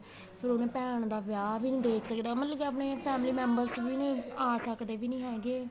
ਫੇਰ ਉਹਨੇ ਭੈਣ ਦਾ ਵਿਆਹ ਵੀ ਨੀਂ ਦੇਖ ਸਕਦਾ ਮਤਲਬ ਕੀ ਆਪਣੇ family member ਚ ਵੀ ਨੀਂ ਆ ਸਕਦੇ ਹੈਗੇ